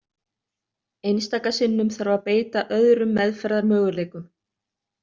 Einstaka sinnum þarf að beita öðrum meðferðarmöguleikum.